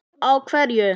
Á hverju?